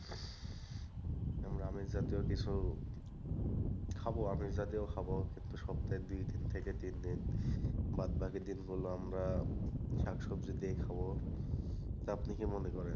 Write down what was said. আমরা আমিষ জাতীয় কিছু খাবো আমিষ জাতীয় খাবো কিন্তু সপ্তায় দুইদিন থেকে তিনদিন, বাদবাকি দিনগুলো আমরা শাকসবজি দিয়েই খাবো। আপনি কি মনে করেন?